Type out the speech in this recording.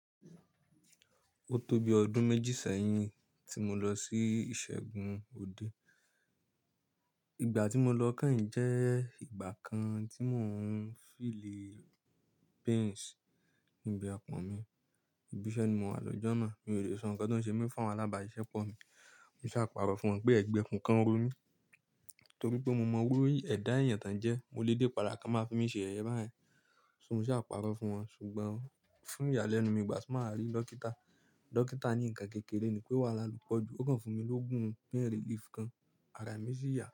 Ó tó bi ọdún méjì sẹ́yìn tí mo lọ sí ìṣègùn òde. Ìgbà tí mo lọ kẹ́yìn jẹ́ ìgbà kan tí mò ń feel pains níbi apọ̀n mi. Ìbísẹ́ ni mo wà lòjọ náà. Mi ò lè sọ nǹkan tó ń ṣe mí fún àwọn alábàáṣisẹ́pọ̀ mi. Mo sá pàrọ̀ fún wọn pé ẹ̀gbẹ́ ikun kan n ro mi. Torí pé mo mọ iru ẹ̀dá èèyàn tán jẹ́, mo lè dépà ki won máa fi mi ṣe yẹ̀yẹ báyẹn. So mo sá pàrọ̀ fún wọn. Ṣùgbọ́n fún ìyàlẹ́nu mi, ìgbà tí mo wà rí dókítà, dókítà ní ǹkan kékeré ni pé wàhálà lọ po jù. Ó kàn fún mi lógún pain relief kan, ara mi sì yá.